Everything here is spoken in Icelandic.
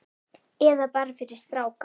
Eða bara fyrir stráka!